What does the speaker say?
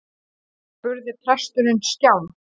spurði presturinn skjálf